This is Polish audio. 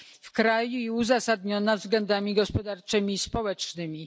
w kraju i uzasadniona względami gospodarczymi i społecznymi.